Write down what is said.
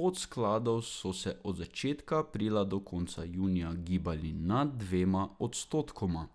podskladov so se od začetka aprila do konca junija gibali nad dvema odstotkoma.